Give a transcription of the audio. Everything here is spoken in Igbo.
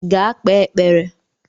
Gaa kpee ekpere!